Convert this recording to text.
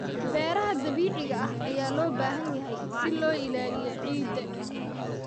Beeraha dabiiciga ah ayaa loo baahan yahay si loo ilaaliyo ciidda.